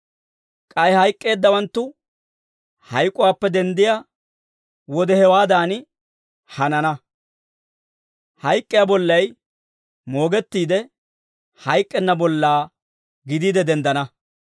K'ay hayk'k'eeddawanttu hayk'uwaappe denddiyaa wode hewaadan hanana; hayk'k'iyaa bollay moogettiide, hayk'k'enna bollaa gidiide denddana.